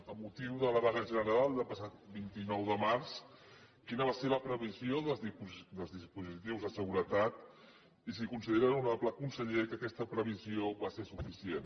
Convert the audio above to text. amb motiu de la vaga general del passat vint nou de març quina va ser la previsió dels dispositius de seguretat i si considera honorable conseller que aquesta previsió va ser suficient